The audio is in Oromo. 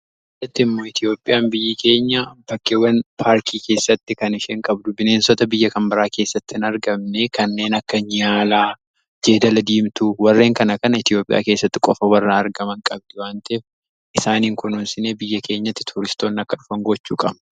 Asitti immoo Itiyoophiyaa biyyi keenya bakkeewwan paarkii keessatti kan isheen qabdu bineensota biyya kan biraa keessattii hin argamne kanneen akka Niyaalaa, Jeedala diimtuu, warreen kana kana Itiyoophiyaa keessatti qofa warreen argaman qabdi waan ta'eef isaaniin kununsinee biyya keenyatti tuuristoonni akka dhufan gochuu qabna.